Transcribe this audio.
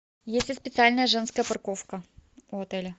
есть ли специальная женская парковка у отеля